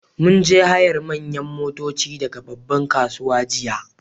Mun je hayar manyan motoci daga babban kasuwa jiya